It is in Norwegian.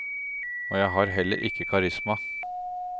Og jeg har heller ikke karisma.